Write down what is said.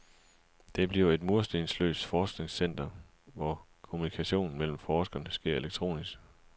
Det bliver et murstensløst forskningscenter, hvor kommunikationen mellem forskerne sker elektronisk.